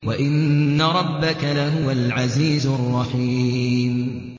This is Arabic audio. وَإِنَّ رَبَّكَ لَهُوَ الْعَزِيزُ الرَّحِيمُ